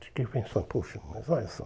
Fiquei pensando, puxa, mas olha só.